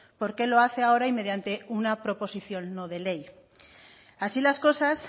por qué lo hace ahora y mediante una proposición no de ley así las cosas